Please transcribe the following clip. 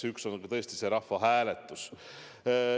Ja üks neist on tõesti see rahvahääletus.